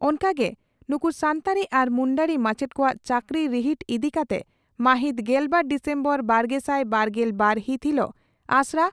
ᱚᱱᱠᱟ ᱜᱮ ᱱᱩᱠᱩ ᱥᱟᱱᱛᱟᱲᱤ ᱟᱨ ᱢᱩᱱᱰᱟᱹᱨᱤ ᱢᱟᱪᱮᱛ ᱠᱚᱣᱟᱜ ᱪᱟᱹᱠᱨᱤ ᱨᱤᱦᱤᱴ ᱤᱫᱤ ᱠᱟᱛᱮ ᱢᱟᱹᱦᱤᱛ ᱜᱮᱞᱵᱟᱨ ᱰᱤᱥᱮᱢᱵᱚᱨ ᱵᱟᱨᱜᱮᱥᱟᱭ ᱵᱟᱨᱜᱮᱞ ᱵᱟᱨ ᱦᱤᱛ ᱦᱤᱞᱚᱜ ᱟᱥᱲᱟ